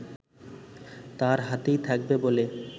তার হাতেই থাকবে বলে